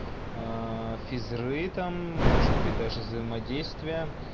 физры там может быть даже взаимодействие